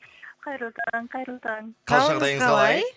қайырлы таң қайырлы таң қал жағдайыңыз қалай